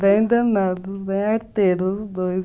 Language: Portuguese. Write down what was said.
Bem danados, bem arteiros os dois.